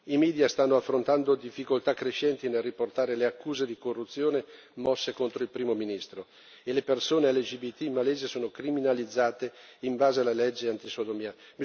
I media stanno affrontando difficoltà crescenti nel riportare le accuse di corruzione mosse contro il primo ministro e le persone LGBTI malesi sono criminalizzate in base alla legge antisodomia.